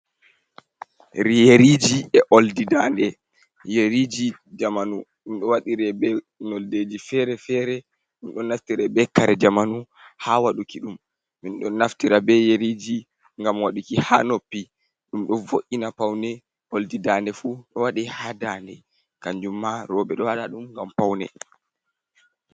Yeriji e oldi daa nde, yeriji jamanu ɗum ɗo waɗire be noldeji fere-fere, ɗum ɗo naftira be kare jamanu ha waɗuki ɗum, min ɗon naftira be yeriji gam waduki ha noppi, ɗum ɗo vo’’ina paune, oldi daa nde fu ɗo waɗi ha daa nde, kanjum ma roɓe ɗo waɗa ɗum ngam paune.